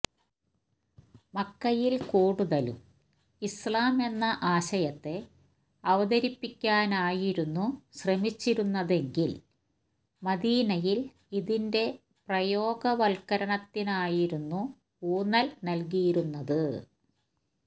മക്കയില് കൂടുതലും ഇസ്ലാം എന്ന ആശയത്തെ അവതരിപ്പിക്കാനായിരുന്നു ശ്രമിച്ചിരുന്നതെങ്കില് മദീനയില് ഇതിന്റെ പ്രയോഗവല്കരണത്തിനായിരുന്നു ഊന്നല് നല്കിയിരുന്നത്